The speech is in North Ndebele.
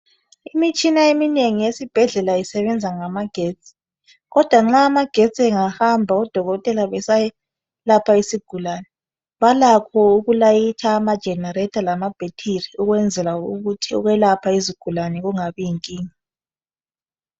Imitshina eminengi esibhedlela isebenza ngama getsi kodwa nxa amagetsi engahamba odokotela besalapha isigulane balakho ukulayitha ama generator lama battery ukwenzela ukuthi ukwelapha izigulane kungabi yinkinga.